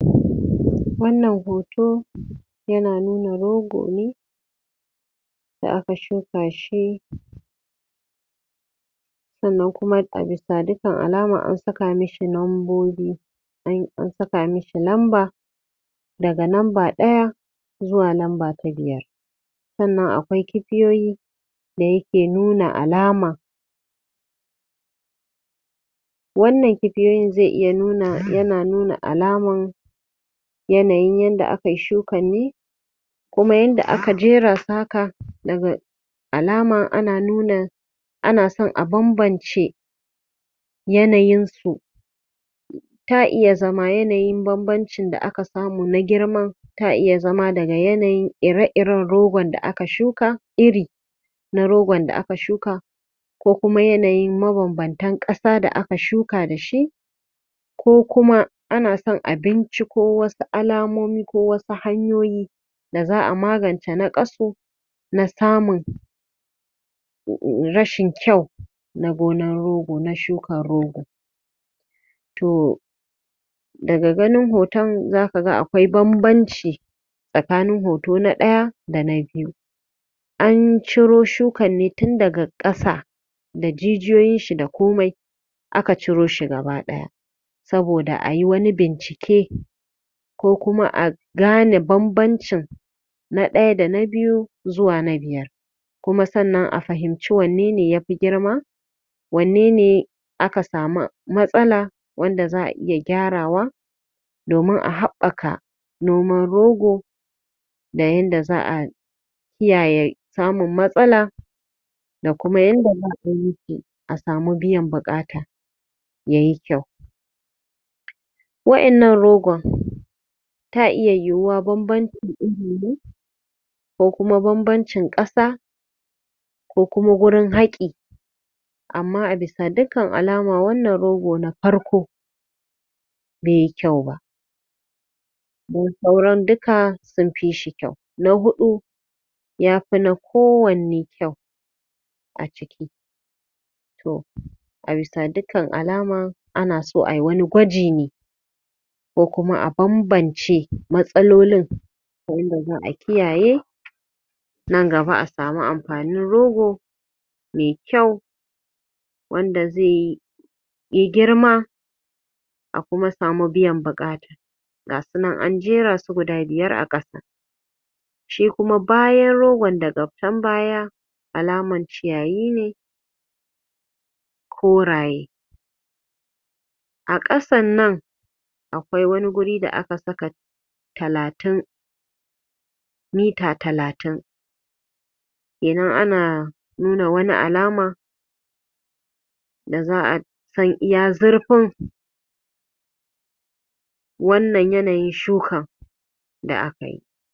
Wannan hoto yana nuna rogo ne da aka suka shi sannan kuma a bisa dukkan alama an saka mishi lambobi, e an saka mishi lamba daga lamba ɗaya zuwa lamba ta biyar sannan akwai kibiyoyi da suke nuna alama Wannan kibiyoyin zai iya nuna yana nuna alaman yanayin yadda akai shukan ne kuma yadda aka jeara su haka alamar ana nuna ana son, a bambance yanayin su ta iya zama yanayin bambancin da aka samu na girman, ta iya zama daga yanayin ire -iren rogon da aka suka ne, wato irin rogon da aka suka, ko kuma yanayin mabambantan saƙar da aka suka dashi ko kuma ana son a binciko wasu alamomi ko wasu hanyoyi da za a magance naƙasu na samun rashin kyau na gonar rogo da yadda ake shuka rogo to daga ganin hoton zaka ga akwai bambanci tsakanin hoto na ɗaya da na biyu an ciro shukar ne tun daga ƙasa da jijiyoyin ta da komai a ka ciro shi ta gaba ɗaya saboda a yi wani bincike ko kuma a gane bambancin na ɗaya da na biyu zuwa na biyar kuma sannan a fahimci wanne ne yafi girma wanne ne aka samu matsala wanda za a ke gyarawa domin a haɓɓaka noman rogo da yanda za ai kiyaye samun matsaka da kuma yanda za a yi a samu biyan buƙata ya yi kyau waƴannan rogon ta iya yiwa bambancin iri ne ko kuma bambancin ƙasa ko kuma wurin haƙi amma a bisa dukkan alama wannan rogo na farko beyi kyau ba sauran duka sun fishi kyau na haɗu ya fi na kowanne kyau to a bisa dukkan alma ana so ai wani gwaji ne ko kuma a bambance matsalolin sannan kuma a kiyaye nan gaba a samu amfanin rogo mai kyau wanda zai yi yai girma a kuma samu biyan buƙata gasu nan an jera su guda biyar a ƙasa sai kuma bayan rogon daga can baya alaman ciyayi ne koraye a ƙasan nan akwai wani wuri da aka saka talatin mita talatin domin ana nuna wani alama da za a wannan yanayin shukan da aka yi